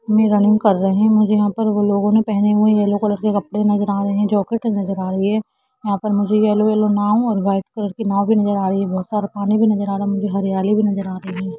Running कर रहे है मुझे वह पर उन लोगो ने पहने हुए येल्लो कलर के कपडे नजर आ रहे है जैकेट भी नजर आ रही है यहां पर मुझे येल्लो येल्लो नाव और व्हाईट कलर की नाव भी नजर आ रही हैऔर पानी भी नजर आ रहा है मुझे हरियाली भी नजर आ रही है।